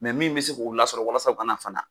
Mɛ min be se k'o lasɔrɔ walasa o ka na fana